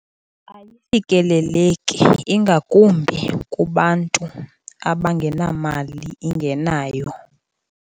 Ayifikeleleki ingakumbi kubantu abangenamali ingenayo.